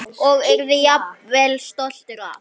Og yrði jafnvel stoltur af.